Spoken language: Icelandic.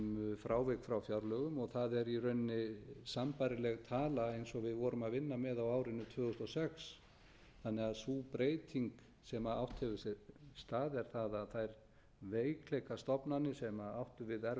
frávik frá fjárlögum og það er í rauninni sambærileg tala eins og við vorum að vinna með á árinu tvö þúsund og sex þannig að sú breyting sem átt hefur sér stað er sú að þær veikleikastofnanir sem áttu við erfiðleika að